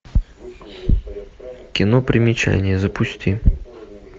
кино примечание запусти